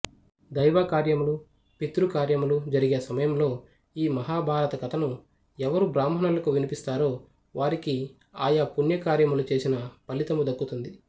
దైవకార్యములు పితృకార్యములు జరిగే సమయములో ఈ మహాభారతకథను ఎవరు బ్రాహ్మణులకు వినిపిస్తారో వారికి ఆయా పుణ్యకార్యములు చేసిన ఫలితము దక్కుతుంది